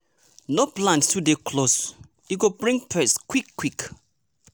no plant too dey close e go bring pest quick-quick!